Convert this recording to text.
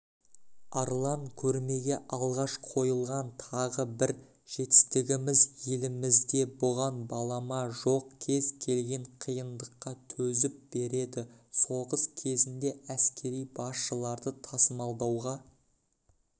арлан көрмеге алғаш қойылған тағы бір жетістігіміз елімізде бұған балама жоқ кез келген қиындыққа төзіп береді соғыс кезінде әскери басшыларды тасымалдауға